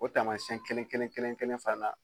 O tamasɛn kelen kelen kelen kelen fana